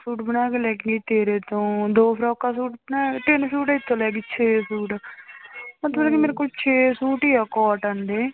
suit ਬਣਾ ਕੇ ਲੈ ਕੇ ਆਈ ਤੇਰੇ ਤੋਂ ਦੋ ਫਰੋਕਾਂ ਸੂਟ ਬਣਾਏ ਤਿੰਨ ਸੂਟ ਏਥੋਂ ਲੈ ਗਈ ਛੇ ਸੂਟ ਮਤਲਬ ਵੀ ਮੇਰੇ ਕੋਲ ਛੇ ਸੂਟ ਹੀ ਆ cotton ਦੇ